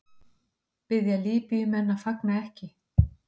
Biðja Líbýumenn að fagna ekki